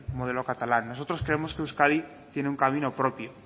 modelo catalán nosotros creemos que euskadi tiene un camino propio